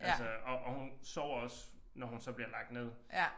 Altså og og hun sover også når hun så bliver lagt ned